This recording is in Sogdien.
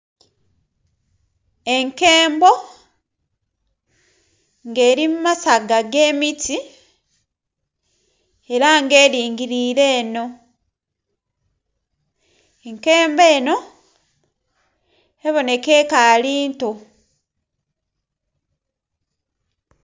Enkembo nga eri mu masaaga ge miti era nga eringirire eno, ekembo eno ebonheka ekaali nto.